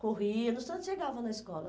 Corria, num instante chegava na escola.